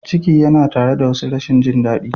Ciki yana tare da wasu rashin jin daɗi.